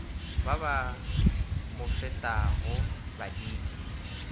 ba ba mo fetago baditi